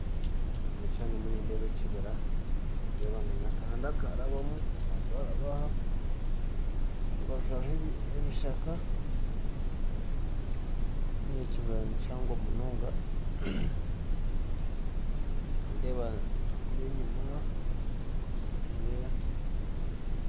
Omukishishani nindeeba ekibira nakahanda karabamu aharubaju hariho ebishaka kandi ekibira nikihango munonga